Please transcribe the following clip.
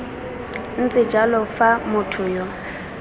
ntse jalo fa motho yo